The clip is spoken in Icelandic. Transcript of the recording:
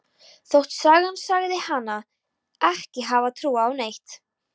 Þótt sagan segði hana ekki hafa trúað á neitt.